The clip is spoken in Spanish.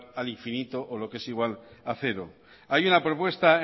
al infinito o lo que es igual a cero hay una propuesta